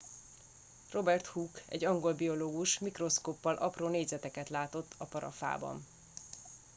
robert hooke egy angol biológus mikroszkóppal apró négyzeteket látott a parafában